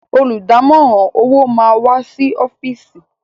Olùdámọ̀ràn owó máa wá sí ọ́fìsì.